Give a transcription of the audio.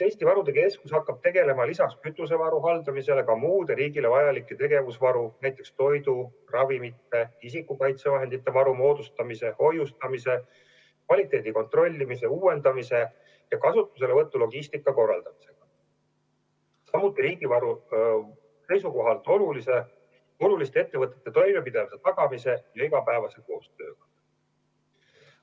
Eesti Varude Keskus hakkab tegelema lisaks kütusevaru haldamisele ka muude riigile vajalike tegevusvarude, näiteks toidu, ravimite, isikukaitsevahendite varu moodustamise, hoiustamise, kvaliteedi kontrollimise, uuendamise ja kasutuselevõtu logistika korraldamisega, samuti riigi varu seisukohalt oluliste ettevõtete toimepidevuse tagamise ja igapäevase koostööga.